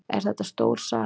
Er þetta stór salur?